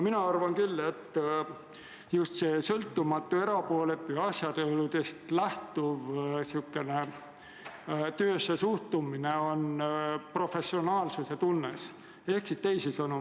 Mina arvan, et just sõltumatu, erapooletu ja asjaoludest lähtuv töössesuhtumine on professionaalsuse tunnus.